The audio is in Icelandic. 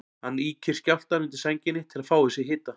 Hann ýkir skjálftann undir sænginni til að fá í sig hita.